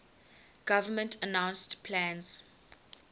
government announced plans